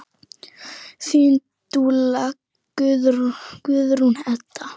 Þín dúlla, Guðrún Edda.